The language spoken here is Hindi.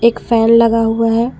एक फैन लगा हुआ है।